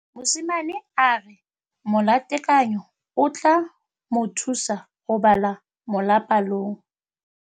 Mosimane a re molatekanyô o tla mo thusa go bala mo molapalong.